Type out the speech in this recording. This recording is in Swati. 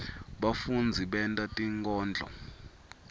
bafundzi benta tinkondlo